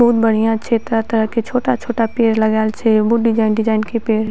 बहुत बढ़िया छे तरह-तरह के छोटा-छोटा पेड़ लगाएल छे बहुत डिज़ाइन डिज़ाइन के पेड़ --